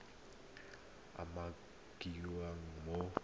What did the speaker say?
nngwe e e umakiwang mo